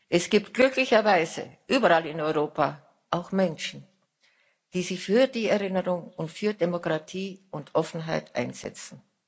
Es gibt glücklicherweise überall in Europa auch Menschen, die sich für die Erinnerung und für Demokratie und Offenheit einsetzen.